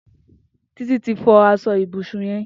Titi ti fọ aṣọ ibúsún yèn